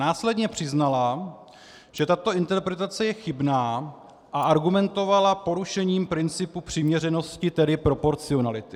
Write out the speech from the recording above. Následně přiznala, že tato interpretace je chybná, a argumentovala porušením principu přiměřenosti, tedy proporcionality.